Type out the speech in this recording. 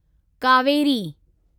Kaveri